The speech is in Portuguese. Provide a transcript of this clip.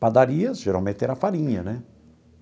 Padarias, geralmente, era farinha, né?